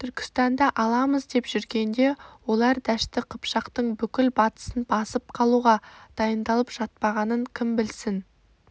түркістанды аламыз деп жүргенде олар дәшті қыпшақтың бүкіл батысын басып қалуға дайындалып жатпағанын кім білсін